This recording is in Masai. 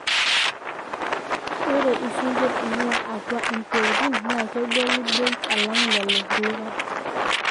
ore isinkir oing'uaa atua impeutin naa kegoli bei alang lelo kulikae